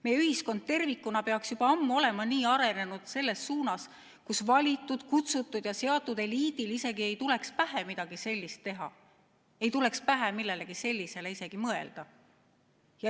Meie ühiskond peaks olema juba ammu nii arenenud selles suunas, et valitud, kutsutud ja seatud eliidil ei tuleks pähe midagi sellist teha ega tuleks pähe millelegi sellisele isegi mõelda.